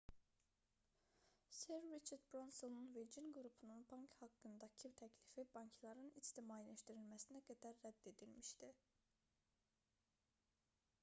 ser riçard bransonun virgin qrupunun bank haqqındakı təklifi bankların ictimailəşdirilməsinə qədər rədd edilmişdi